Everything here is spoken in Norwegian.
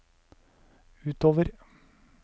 utover